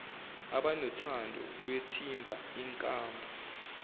abanothando lwethimba inkambu